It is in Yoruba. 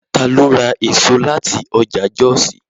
Ta ló ra èso láti ọjà Jọ́òsì?